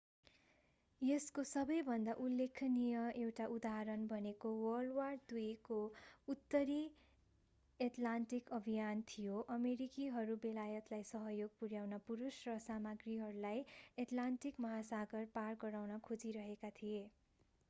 यसको सबैभन्दा उल्लेखनीय एउटा उदाहरण भनेको wwii को उत्तरी एटलान्टिक अभियान थियो।। अमेरिकीहरू बेलायतलाई सहयोग पुर्‍याउन पुरुष र सामाग्रीहरूलाई अटलान्टिक महासागर पार गराउन खोजिरहेका थिए।